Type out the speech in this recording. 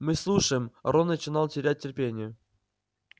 мы слушаем рон начинал терять терпение